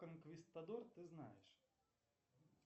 конквистодор ты знаешь